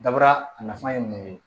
Dabara a nafa ye mun ye